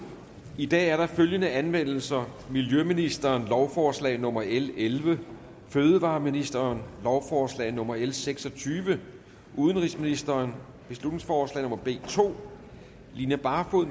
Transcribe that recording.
i dag er der følgende anmeldelser miljøministeren lovforslag nummer l elleve fødevareministeren lovforslag nummer l seks og tyve udenrigsministeren beslutningsforslag nummer b to line barfod